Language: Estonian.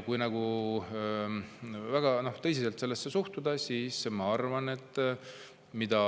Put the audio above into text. Kui siiski väga tõsiselt sellesse suhtuda, siis ma arvan, et mida